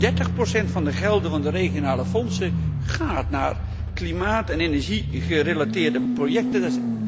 30 van de gelden van de regionale fondsen gaat naar klimaat en energiegerelateerde projecten.